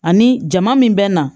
Ani jama min bɛ na